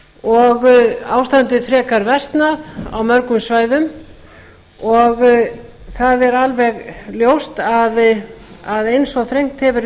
og ástandið frekar versnað á mörgum svæðum það er alveg ljóst að eins og þrengt hefur